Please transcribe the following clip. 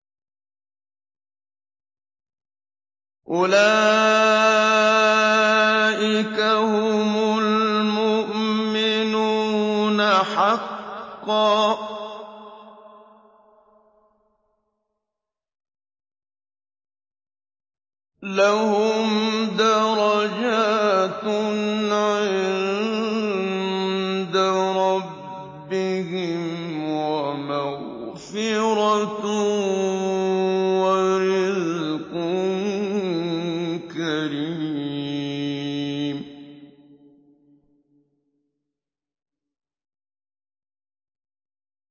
أُولَٰئِكَ هُمُ الْمُؤْمِنُونَ حَقًّا ۚ لَّهُمْ دَرَجَاتٌ عِندَ رَبِّهِمْ وَمَغْفِرَةٌ وَرِزْقٌ كَرِيمٌ